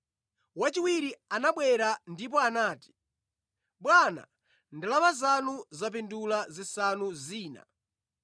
“Wachiwiri anabwera ndipo anati, ‘Bwana, ndalama zanu zapindula zisanu zina.’